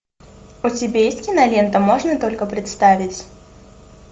у тебя есть кинолента можно только представить